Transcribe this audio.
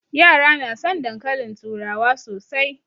Yara na son dankalin turawa sosai